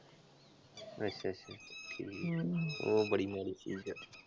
ਅੱਛਾ ਅੱਛਾ, ਹਮ ਉਹ ਬੜੀ ਮਾੜੀ ਚੀਜ਼ ਆ।